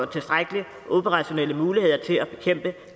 tilstrækkelige operationelle muligheder til at bekæmpe